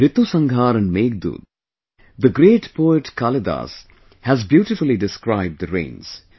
In 'Ritusanhar' and 'Meghdoot', the great poet Kalidas has beautifully described the rains